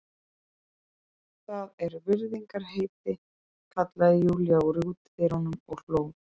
Það er virðingarheiti, kallaði Júlía úr útidyrunum og hló.